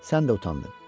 Sən də utandın.